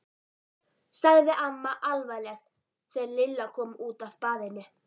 sagði amma alvarleg þegar Lilla kom út af baðinu.